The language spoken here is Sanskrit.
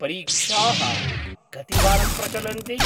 परीक्षाः कतिवारं प्रचलन्ति?